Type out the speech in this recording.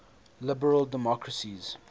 liberal democracies